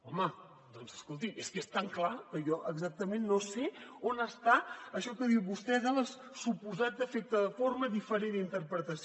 home doncs escolti és que és tan clar que jo exactament no sé on està això que diu vostè del suposat defecte de forma diferent interpretació